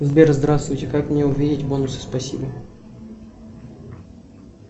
сбер здравствуйте как мне увидеть бонусы спасибо